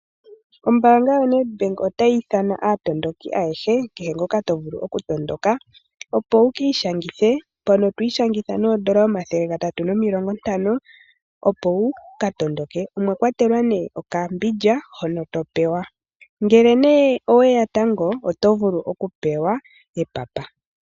Ombaanga yoNedBank otayi ithana aatondoki ayehe. Kehe ngoka to vulu okutondoka opo wuki ishangithe. Mpono to ishangitha noodola omathele gatatu nomilongo ntano opo wuka tondoke. Omwa kwatelwa nee okambindja hono to pewa. Ngele nee oweya tango oto vulu okupewa epapa.